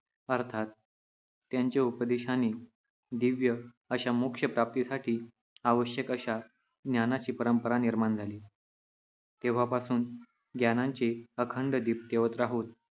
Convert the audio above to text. अर्थात त्यांच्या उपदेशाने दिव्य अशा मोक्षप्राप्तीसाठी आवश्यक अशा ज्ञानाची परंपरा निर्माण झाली. तेव्हापासून ज्ञानांचे अखंड दिप तेवत राहोत